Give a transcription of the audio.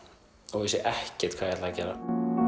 og vissi ekkert hvað ég ætlaði að gera